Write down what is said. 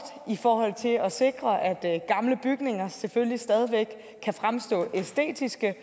i forhold til at sikre at gamle bygninger selvfølgelig stadig væk kan fremstå æstetiske